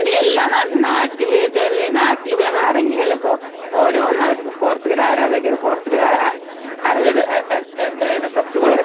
നാട്ടില് നാട്ടില് പോയി ഇറങ്ങിലായിപ്പോൾ ഓരോന്നാവറ്റു പോർച്ചുഗൽ ആരാധകര് പോർച്ചുഗൽ ആരാധകര്